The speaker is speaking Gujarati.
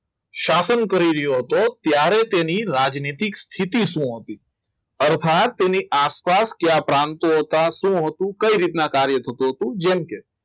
શાસન કરી રહ્યો હતો ત્યારે તેની રાજનીતિક સ્થિતિ શું હતી અર્થાત તેની આસપાસ કયા પ્રાંત તથા શું હતું કઈ રીતના કાર્ય થતું હતું જેમકે